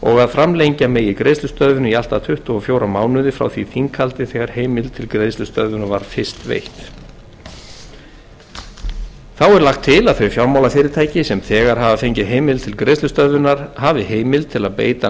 framlengja megi greiðslustöðvun í allt að tuttugu og fjóra mánuði frá því þinghaldi þegar heimild til greiðslustöðvunar var fyrst veitt þá er lagt til að þau fjármálafyrirtæki sem þegar hafa fengið heimild til greiðslustöðvunar hafi heimild til að beita